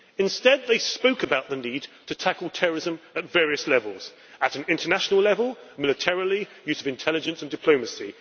Instead they spoke about the need to tackle terrorism at various levels at an international level, militarily, through use of intelligence and diplomacy